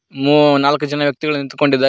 ಮೂ ನಾಲ್ಕು ಜನ ವ್ಯಕ್ತಿಗಳು ನಿಂತುಕೊಂಡಿದ್ದಾರೆ.